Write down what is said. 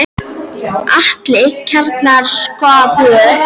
Ætli kjarnorkusprengjan verði ekki komin áður.